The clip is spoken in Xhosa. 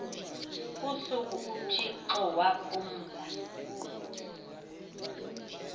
usuku uthixo waphumla